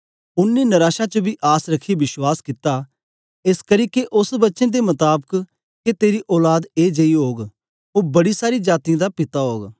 ओनें नराशा च बी आस रखियै विश्वास कित्ता एसकरी के ओस वचन दे मताबक के तेरी औलाद ए जेई ओग ओ बड़ी सारी जातीयें दा पिता ओग